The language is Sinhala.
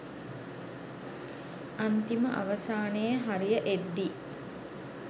අන්තිම අවසානයේ හරිය එද්දි